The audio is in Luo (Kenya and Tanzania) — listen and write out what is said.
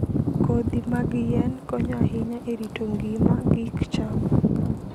kodhi mag yien konyo ahinya e rito ngima gik cham.